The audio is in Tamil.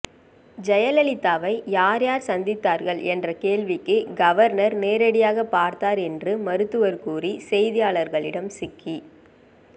ஜெயலலிதாவை யார் யார் சந்தித்தார்கள் என்ற கேள்விக்கு கவர்னர் நேரடியாக பார்த்தார் என்று மருத்துவர் கூறி செய்தியாளர்களிடம் சிக்கி